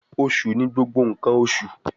Osu ni gbogbo nkan oṣu